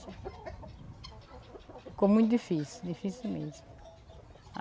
Ficou muito difícil, dificilmente.